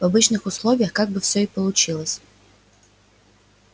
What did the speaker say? в обычных условиях как бы всё и получилось